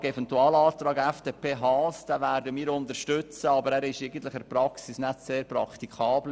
Den Eventualantrag der FDP werden wir unterstützen, aber er ist in der Praxis kaum praktikabel.